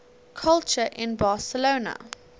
culture in barcelona